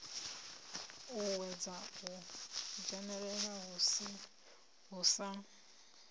uuwedza u dzhenelela hu sa